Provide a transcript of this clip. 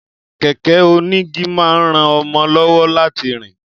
Kẹ̀kẹ́ onígi máa ń ran mọ lọ́wọ́ láti rìn